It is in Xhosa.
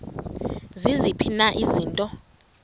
ziziphi na izinto